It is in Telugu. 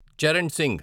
చరణ్ సింగ్